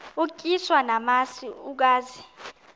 utyiswa namasi ukaze